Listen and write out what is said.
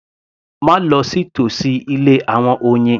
Má lọ sí tòsí ilé àwọn oyin